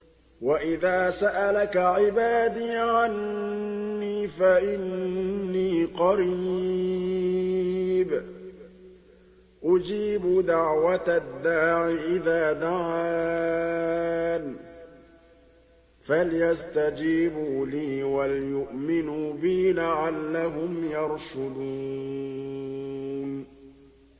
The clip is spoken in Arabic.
وَإِذَا سَأَلَكَ عِبَادِي عَنِّي فَإِنِّي قَرِيبٌ ۖ أُجِيبُ دَعْوَةَ الدَّاعِ إِذَا دَعَانِ ۖ فَلْيَسْتَجِيبُوا لِي وَلْيُؤْمِنُوا بِي لَعَلَّهُمْ يَرْشُدُونَ